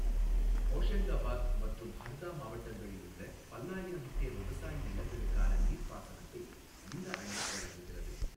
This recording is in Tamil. ஹோஷங்காபாத் மற்றும் ஹர்தா மாவட்டங்களில் உள்ள பல்லாயிரம் ஹெக்டேர் விவசாய நிலங்களுக்கான நீர்ப்பாசனத்தை இந்த அணை வழங்குகிறது.